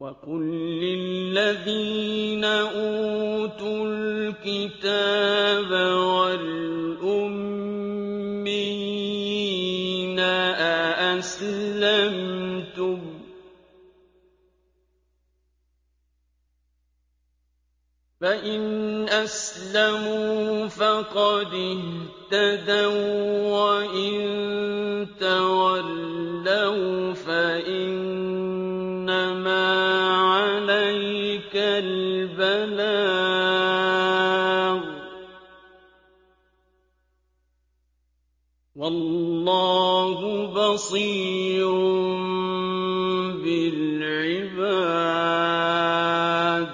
وَقُل لِّلَّذِينَ أُوتُوا الْكِتَابَ وَالْأُمِّيِّينَ أَأَسْلَمْتُمْ ۚ فَإِنْ أَسْلَمُوا فَقَدِ اهْتَدَوا ۖ وَّإِن تَوَلَّوْا فَإِنَّمَا عَلَيْكَ الْبَلَاغُ ۗ وَاللَّهُ بَصِيرٌ بِالْعِبَادِ